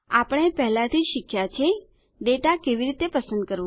આપણે પહેલાથી જ શીખ્યા છે ડેટા કેવી રીતે પસંદ કરવા